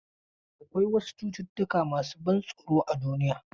Akwai wasu cututtuka masu ban tsoro a duniya.